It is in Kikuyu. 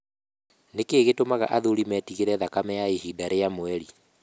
Nĩ kĩĩ gĩtũmaga athuri metigĩre thakame ya ihinda rĩa mweri?